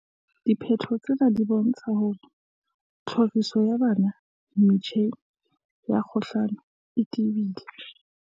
"Diphetho tsena di bontsha hore tlhoriso ya bana metjheng ya kgokahano e tebile."